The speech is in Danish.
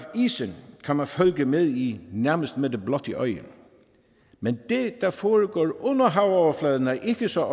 isen kan man følge med i nærmest med det blotte øje men det der foregår under havoverfladen er ikke så